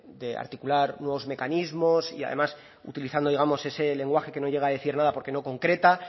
de articular nuevos mecanismos y además utilizando digamos ese lenguaje que no llega a decir nada porque no concreta